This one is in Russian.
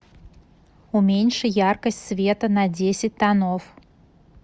уменьши яркость света на десять тонов